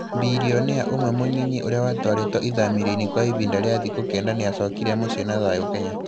Bilionea ũmwe mũnyinyi ũrĩa watwarĩtwo ithamĩrio-inĩ kwa ivinda rĩa thikũ kenda nĩ acokire mũciĩ na thayũ Kenya.